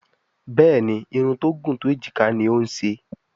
Béèni Irun tó gún tó ejika ní o ń ṣe.